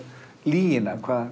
lygina